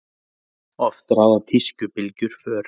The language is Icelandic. Oft ráða tískubylgjur för.